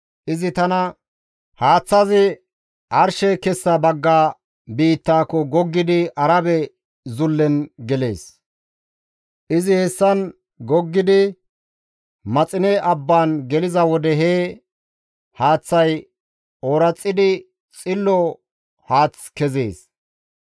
Izi tana, «Haaththay arshe kessa bagga biittako goggidi Arabe Zullen gelees. Izi hessan goggidi Maxine abban geliza wode he haaththazi ooraxidi xillo haath kezees.